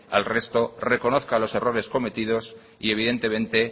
al resto reconozca los errores cometidos y evidentemente